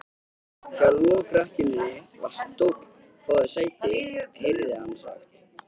Hjá lokrekkjunni var stóll: Fáðu þér sæti, heyrði hann sagt.